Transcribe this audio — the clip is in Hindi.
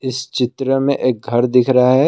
इस चित्र में एक घर दिख रहा है।